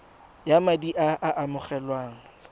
ya madi a a amogelwang